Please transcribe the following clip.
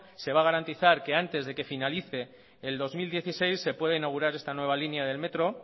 se va a garantizar que antes de que finalice el dos mil dieciséis se puede inaugurar esta nueva línea del metro